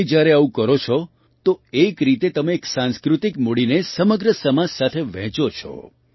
તમે જ્યારે આવું કરો છો તે એક રીતે તમે એક સાંસ્કૃતિક મૂડીને સમગ્ર સમાજ સાથે વહેંચો છો